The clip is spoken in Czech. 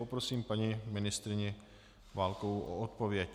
Poprosím paní ministryni Válkovou o odpověď.